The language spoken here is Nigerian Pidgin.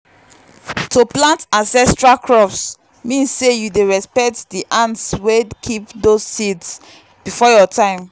to plant ancestral crops mean say you dey respect the hands wey keep those seeds before your time.